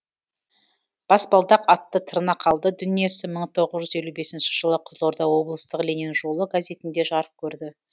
баспалдақ атты тырнақалды дүниесі мың тоғыз жүз елу бесінші жылы қызылорда облыстық ленин жолы газетінде жарық көрді